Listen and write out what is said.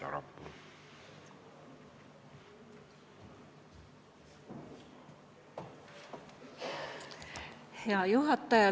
Hea juhataja!